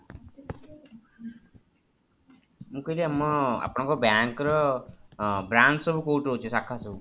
ମୁଁ କହିଲି ଆମର ଆପଣଙ୍କର bank ର brach ସବୁ କୋଉଠି ରହୁଛି ଶାଖା ସବୁ